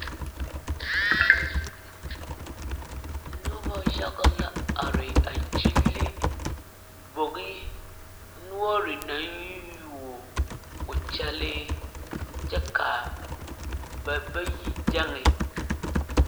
Noba yaga are a gyili bogi noɔre meŋ naŋ yuo o kyɛlle kyɛ ka ba bayi gyaŋe.